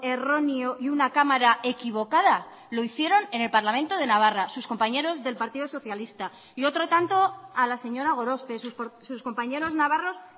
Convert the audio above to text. erróneo y una cámara equivocada lo hicieron en el parlamento de navarra sus compañeros del partido socialista y otro tanto a la señora gorospe sus compañeros navarros